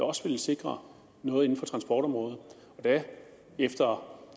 også vil sikre noget inden for transportområdet efter